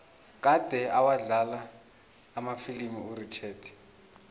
kade awadlala amafilimu urichard